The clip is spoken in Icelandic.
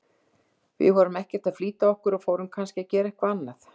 Við vorum ekkert að flýta okkur og fórum kannski að gera eitthvað annað